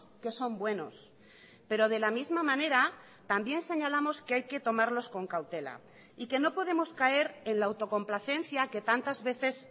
que son buenos pero de la misma manera también señalamos que hay que tomarlos con cautela y que no podemos caer en la autocomplacencia que tantas veces